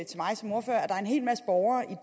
der er en hel masse borgere